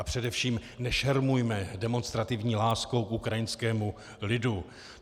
A především nešermujme demonstrativní láskou k ukrajinskému lidu.